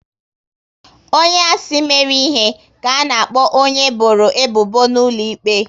Onye a sị mere ihe, ka a na-akpọ onye e bọrọ ebubo n'ụlọ ikpe